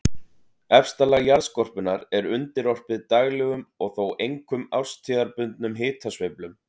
Efsta lag jarðskorpunnar er undirorpið daglegum og þó einkum árstíðabundnum hitasveiflum.